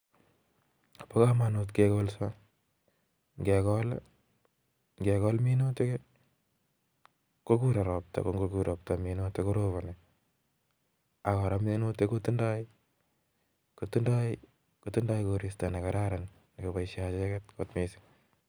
Pa kamanut kekolsaa. ngekol. minutik minutik kotindai korista negararan nekipaishee acheket kot missing